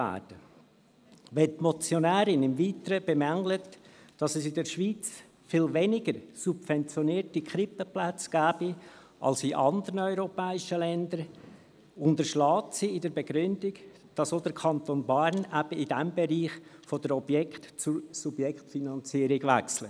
Wenn die Motionärin im Weiteren bemängelt, dass es in der Schweiz viel weniger subventionierte Krippenplätze gebe als in anderen europäischen Ländern, unterschlägt sie in der Begründung, dass der Kanton Bern eben in diesem Bereich von der Objekt- zur Subjektfinanzierung wechselt;